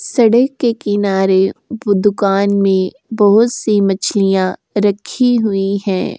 सड़क के किनारे वो दुकान में बहुत सी मछलियां रख हुई हैं।